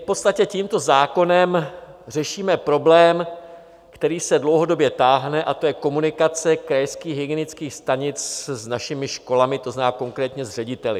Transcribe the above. V podstatě tímto zákonem řešíme problém, který se dlouhodobě táhne, a to je komunikace krajských hygienických stanic s našimi školami, to znamená konkrétně s řediteli.